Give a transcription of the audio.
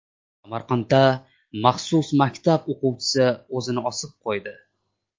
Samarqanddagi maxsus maktab o‘quvchisi o‘zini osib qo‘ydi.